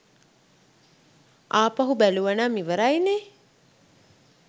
ආපහු බැලුවනම් ඉවරයි නේ.